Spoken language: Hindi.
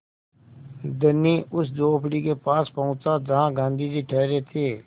धनी उस झोंपड़ी के पास पहुँचा जहाँ गाँधी जी ठहरे थे